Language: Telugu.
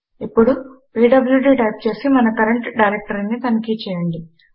ఇప్పుడు పీడ్ల్యూడీ టైప్ చేసి మన కరంట్ డైరెక్టరీని తనిఖి చేయండి